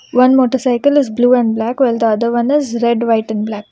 One motorcycle is blue and black while the other one is red white and black.